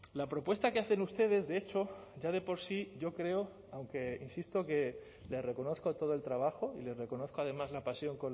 la propuesta que hacen ustedes de hecho ya de por sí yo creo aunque insisto que le reconozco todo el trabajo y le reconozco además la pasión